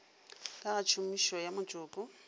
ka ga tshomišo ya motšoko